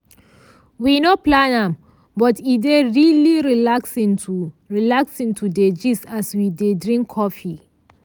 we no plan am but e dey really relaxing to relaxing to dey gist as we dey drink coffee.